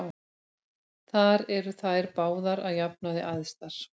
Þar eru þær báðar að jafnaði æðstar.